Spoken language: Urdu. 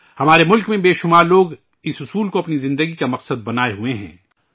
ہمارے ملک میں بے شمار لوگ اس منتر کو اپنی زندگی کا مقصد بنائے ہوئے ہیں